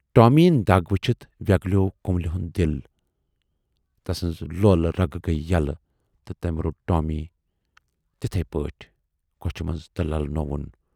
Tommy یِنۍ دَگ وُچھِتھ وٮ۪گلیوو کملہِ ہُند دِل، تسٕنزٕ لولہٕ رگہٕ گٔیہِ یلہٕ تہٕ تٔمۍ روٹ ٹامی تِتھٕے پٲٹھۍ کۅچھِ منز تہٕ للہٕ نووُن۔